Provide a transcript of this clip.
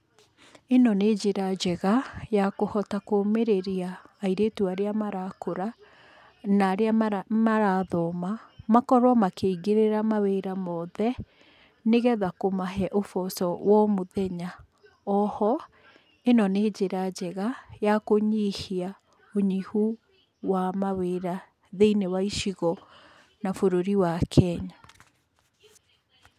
Ĩno nĩ njĩra njega ya kũhota kũmĩrĩria airĩtu arĩa marakũra na arĩa marathoma makorwo makĩingĩrĩra mawĩra mothe nĩgetha kũmahe ũboco wa o mũthenya, oho ĩno nĩ njĩra njega ya kũnyihia ũnyihu wa mawĩra thĩiniĩ wa icigo na bũrũri wa Kenya.